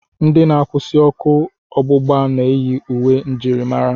Ndị na-akwụsị ọkụ ọgbụgba na-eyi uwe njirimara.